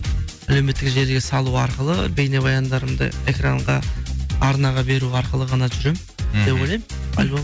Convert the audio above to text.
әлеуметтік желіге салу арқылы бейнебаяндарымды экранға арнаға беру арқылы ғана жүремін деп ойлаймын альбом